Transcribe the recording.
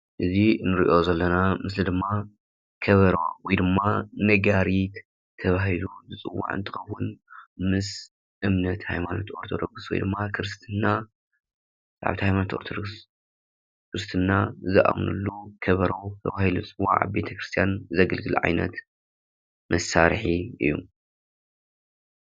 እዚ ንሪኦ ዘለና ምስሊ ድማ ከበሮ ወይ ድማ ነጋሪት ተባሂሉ ዝፅዋዕ እንትኸውን ምስ እምነት ሃይማኖት አርቶዶክስ ወይ ድማ ክርስትና አመንቲ ሃይማኖት አርቶዶክስ ክርስትና ዝአምንሉ ከበሮ ተባሂሉ ዝፀዋዕ አበ ቤተ ክርስታያን ዘግልግል ዓይነት መሳርሒ እዩ፡፡